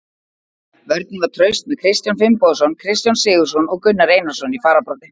Vörnin var traust með Kristján Finnbogason, Kristján Sigurðsson og Gunnar Einarsson í fararbroddi.